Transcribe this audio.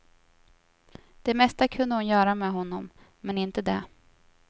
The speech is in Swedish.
Det mesta kunde hon göra med honom, men inte det.